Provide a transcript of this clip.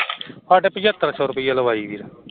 ਸਾਡੇ ਪਚਹੱਤਰ ਸੋ ਲਵਾਈ ਏ ਵੀਰ